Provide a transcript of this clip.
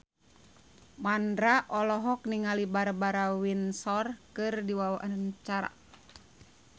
Mandra olohok ningali Barbara Windsor keur diwawancara